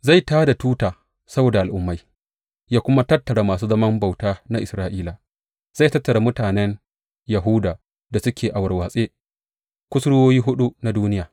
Zai tā da tuta saboda al’ummai yă kuma tattara masu zaman bauta na Isra’ila; zai tattara mutanen Yahuda da suke a warwatse kusurwoyi huɗu na duniya.